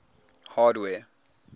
hardware